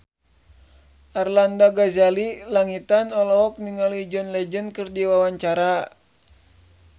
Arlanda Ghazali Langitan olohok ningali John Legend keur diwawancara